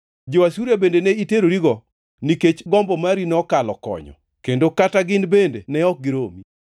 Jo-Asuria bende ni iterorigo, nikech gombo mari nokalo konyo, kendo kata gin bende ne ok giromi.